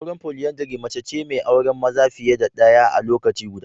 Auren foliandri mace ce mai auren maza fiye da ɗaya a lokaci guda.